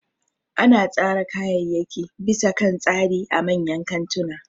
Ana tsara kayayyaki bisa kan tsari a manyan kantuna